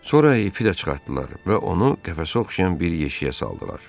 Sonra ipi də çıxartdılar və onu qəfəsə oxşayan bir yeşiyə saldılar.